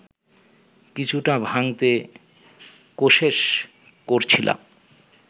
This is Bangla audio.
কিছুটা ভাঙতে কোশেশ করছিলাম